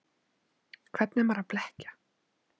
Hvern er maður að blekkja?